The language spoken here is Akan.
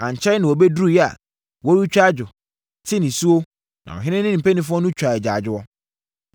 Ankyɛre na wɔbɛduruiɛ a, wɔretwa adwo, te anisuo, na ɔhene ne ne mpanimfoɔ nso twaa agyaadwoɔ.